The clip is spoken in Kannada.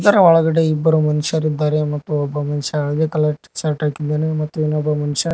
ಒಳಗಡೆ ಇಬ್ಬರು ಮನುಷ್ಯರಿದ್ದಾರೆ ಮತ್ತು ಒಬ್ಬ ಮನುಷ್ಯ ಹಳದಿ ಕಲರ್ ಟಿಶರ್ಟ್ ಹಾಕಿದ್ದಾನೆ ಮತ್ತು ಇನ್ನೊಬ್ಬ ಮನುಷ್ಯ --